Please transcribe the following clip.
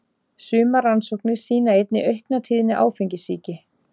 Sumar rannsóknir sýna einnig aukna tíðni áfengissýki.